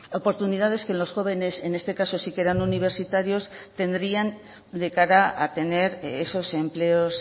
oportunidades que los jóvenes en este caso sí que eran universitarios tendrían de cara a tener esos empleos